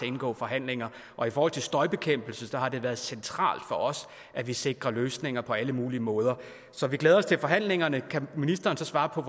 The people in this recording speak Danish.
indgå forhandlinger og i forhold til støjbekæmpelse har det været centralt for os at vi sikrer løsninger på alle mulige måder så vi glæder os til forhandlingerne kan ministeren svare på